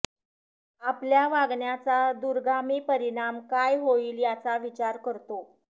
आपल्या वागण्याचा दूरगामी परिणाम काय होईल याचा विचार करतो